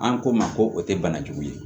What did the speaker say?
An ko n ma ko o tɛ banajugu ye